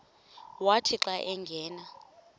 wathi xa angena